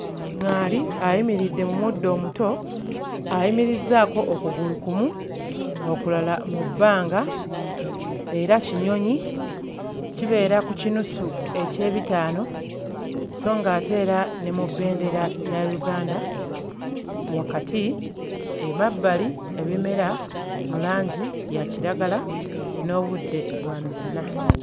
ŋŋaali ayimiridde mu muddo omuto ayimirizzaako okugulu kumu okulala mu bbanga era kinyonyi kibeera ku kinusu eky'ebitaano sso ng'ate era ne mu bbendera ya Uganda wakati. Emabbali ebimera mu langi ya kiragala n'obudde bwa misana.